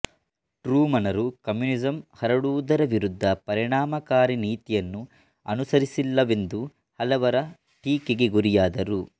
ಟ್ರೂಮನರು communism ಹರಡುವುದರ ವಿರುದ್ಧ ಪರಿಣಾಮಕಾರಿ ನೀತಿಯನ್ನು ಅನುಸರಿಸಲಿಲ್ಲವೆಂದು ಹಲವರ ಟೀಕೆಗೆ ಗುರಿಯಾದರು